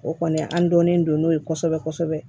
O kɔni an dɔnnen don n'o ye kosɛbɛ kosɛbɛ